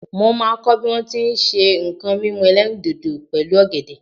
mo ma ko bi a ti n se nko mímu elerindodo pẹlu ògèdè